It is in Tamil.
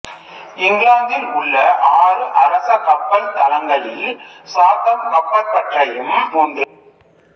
இங்கிலாந்தில் உள்ள ஆறு அரச கப்பல் தளங்களில் சாத்தம் கப்பற்பட்டறையும் ஒன்று